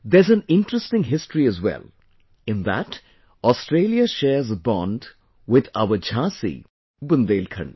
There's an interesting history as well...in that, Australia shares a bond with our Jhansi, Bundelkhand